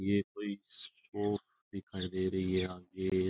ये कोई शॉप दिखाई दे रही है आगे --